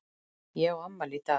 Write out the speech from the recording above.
Ég á afmæli í dag.